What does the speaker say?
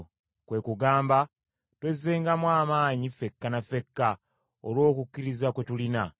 kwe kugamba: twezengamu amaanyi ffekka ne ffekka olw’okukkiriza kwe tulina.